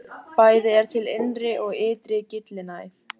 Bæði er til innri og ytri gyllinæð.